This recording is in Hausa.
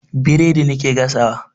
Biredi nake gasawa.